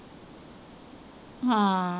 ਹਾਂ